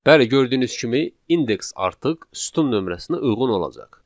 Bəli, gördüyünüz kimi index artıq sütun nömrəsinə uyğun olacaq.